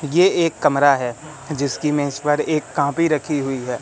ये एक कमरा है जिसकी मेज पर एक कॉपी रखी हुई है।